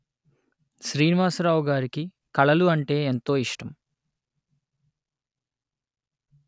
శ్రీనివాసరావు గారికి కళలు అంటే ఎంతో ఇష్టం